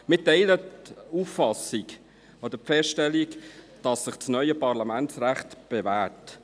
Wir teilen die Auffassung oder die Feststellung, dass sich das neue Parlamentsrecht bewährt.